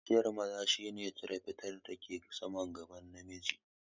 Kaciyan maza shi ne cire fatar da ke saman gaban namiji